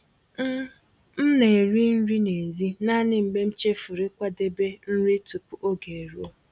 M M na-eri nri n'èzí naanị mgbe m chefuru ịkwadebe nri tupu oge eruo.